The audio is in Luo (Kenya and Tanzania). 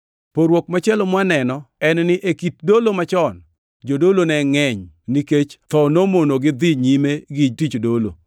Pogruok machielo mwaneno en ni e kit dolo machon, jodolo ne ngʼeny nikech tho nomonogi dhi nyime gi tich dolo;